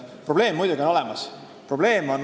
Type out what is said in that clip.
Probleem on muidugi olemas.